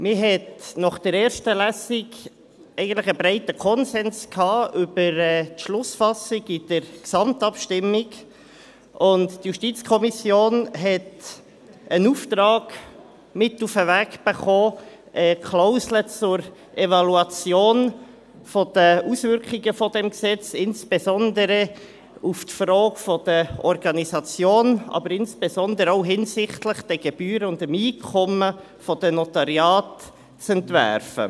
Man hatte nach der ersten Lesung in der Gesamtabstimmung eigentlich einen breiten Konsens über die Schlussfassung, und die JuKo hat einen Auftrag mit auf den Weg erhalten, die Klausel zur Evaluation der Auswirkungen dieses Gesetzes, insbesondere auf die Frage der Organisation hin, aber insbesondere auch hinsichtlich der Gebühren und Einkommen der Notariate, zu entwerfen.